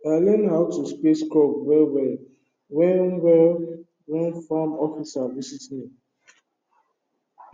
i learn how to space crop well well when well when farm officer visit me